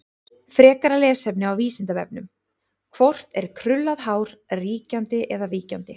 Frekara lesefni á Vísindavefnum: Hvort er krullað hár ríkjandi eða víkjandi?